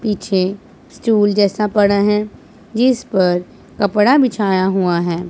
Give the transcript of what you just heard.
पीछे स्टूल जैसा पड़ा हैं जिस पर कपड़ा बिछाया हुवा हैं।